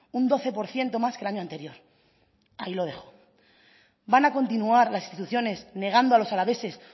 un doce por ciento más que el año anterior ahí lo dejo van a continuar las instituciones negando a los alaveses